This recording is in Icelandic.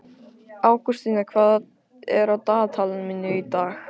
Ágústína, hvað er á dagatalinu mínu í dag?